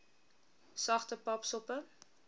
sagte pap soppe